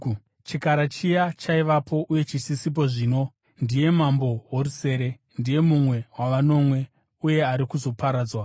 Chikara chiya chaivapo, uye chisisipo zvino, ndiye mambo worusere. Ndiye mumwe wavanomwe uye ari kuzoparadzwa.